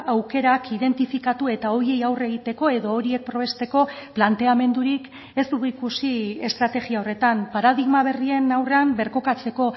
aukerak identifikatu eta horiei aurre egiteko edo horiek probesteko planteamendurik ez dugu ikusi estrategia horretan paradigma berrien aurrean birkokatzeko